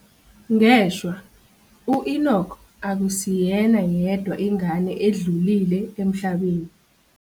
Ngeshwa, u-Enock akusiyena yedwa ingane edlulile emhlabeni.